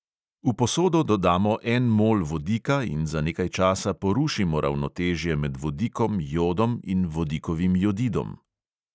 V posodo dodamo en mol vodika in za nekaj časa porušimo ravnotežje med vodikom, jodom in vodikovim jodidom.